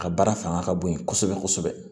A baara fanga ka bon kosɛbɛ kosɛbɛ